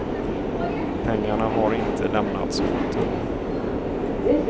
Pengarna har inte lämnats åter.